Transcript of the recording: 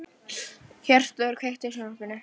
Hjörtþór, kveiktu á sjónvarpinu.